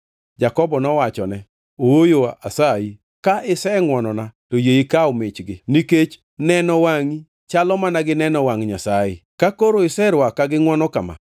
Jakobo nowachone, “Ooyo, asayi! Ka isengʼwonona to yie ikaw michgi. Nikech neno wangʼi chalo mana gi neno wangʼ Nyasaye, ka koro iserwaka gi ngʼwono kama.